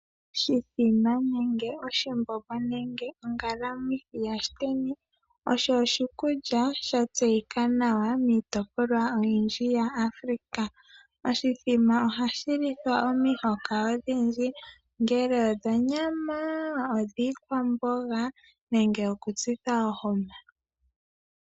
Oshithima nenge oshimbombo nenge ongalamwithi ya shiteni osho oshikulya sha tseyika nawa miitopolwa oyindji ya Africa. Oshithima ohashi lithwa omihoka odhindji ongele odhonyama, odhiikwambonga nenge oku tsitha ohoma.